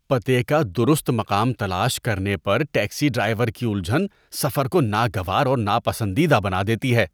پتے کا درست مقام تلاش کرنے پر ٹیکسی ڈرائیور کی الجھن سفر کو ناگوار اور ناپسندیدہ بنا دیتی ہے۔